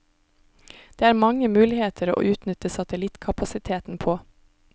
Det er mange muligheter å utnytte satellittkapasiteten på.